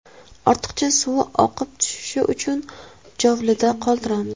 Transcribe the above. Ortiqcha suvi oqib tushishi uchun chovlida qoldiramiz.